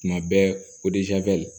Tuma bɛɛ